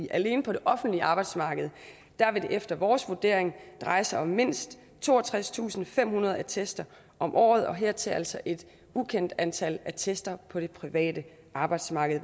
alene på det offentlige arbejdsmarked vil det efter vores vurdering dreje sig om mindst toogtredstusinde og femhundrede attester om året og hertil altså et ukendt antal attester på det private arbejdsmarked